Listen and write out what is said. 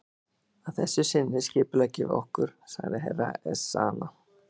Að þessu sinni skipuleggjum við okkur, sagði Herra Ezana.